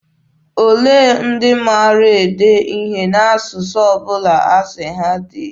Olee ndị maara ede ihe n'asụsụ ọ bụla asị ha dee?